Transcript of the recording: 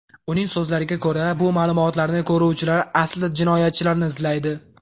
Uning so‘zlariga ko‘ra, bu ma’lumotlarni ko‘ruvchilar aslida jinoyatchilarni izlaydi.